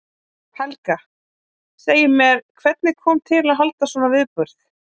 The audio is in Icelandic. Helga: Segið mér, hvernig kom til að halda svona viðburð?